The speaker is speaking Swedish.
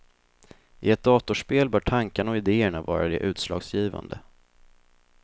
I ett datorspel bör tankarna och ideerna vara det utslagsgivande.